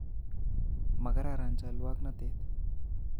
Makararan cholwoknotet